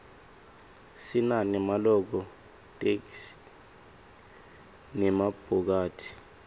sinane maloko tlkesl nemabhokathi